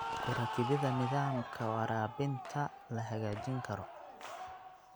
Ku rakibida nidaamka waraabinta la hagaajin karo.